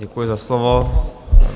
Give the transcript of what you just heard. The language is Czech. Děkuji za slovo.